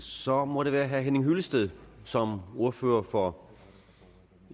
så må det være herre henning hyllested som ordfører for